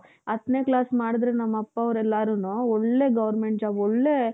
ಹತ್ತನೆ class ಮಾಡುದ್ರು ನಮ್ ಅಪ್ಪ ಅವರೆಲ್ಲಾರೂನು ಒಳ್ಳೆ government ಜಾಬ್ ಒಳ್ಳೆ